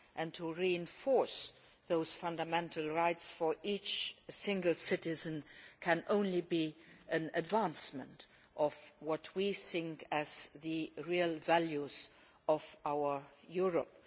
To reinforce those fundamental rights for each single citizen can only be an advancement of what we think as being the real values of our Europe.